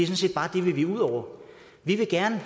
set bare det vi vil ud over vi vil gerne